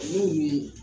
Olu ye